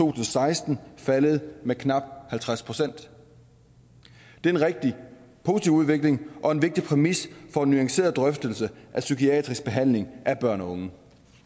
og seksten faldet med knap halvtreds procent det er en rigtig positiv udvikling og en vigtig præmis for en nuanceret drøftelse af psykiatrisk behandling af børn og unge